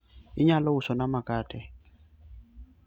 inyalo uso na makate?